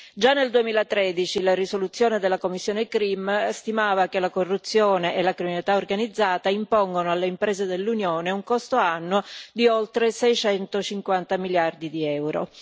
Già nel 2013 la risoluzione della commissione CRIM stimava che la corruzione e la criminalità organizzata impongono alle imprese dell'Unione un costo annuo di oltre 650 miliardi di euro.